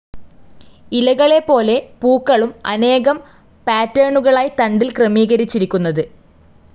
ഇലകളെപോലെ പൂക്കളും അനേകം പാറ്റെണുകളായി തണ്ടിൽ ക്രമീകരിച്ചിരിക്കുന്നത്.